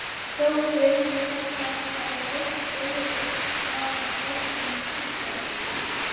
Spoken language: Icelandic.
Sóttdauði kallast það er fólk deyr af völdum sjúkdóms.